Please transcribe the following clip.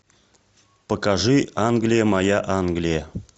покажи англия моя англия